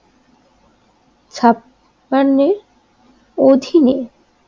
ছাপান্নের অধীনে